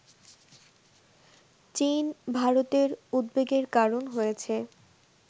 চীন ভারতের উদ্বেগের কারণ হয়েছে